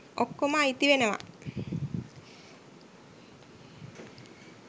ඔක්කොම අයිතිවෙනවා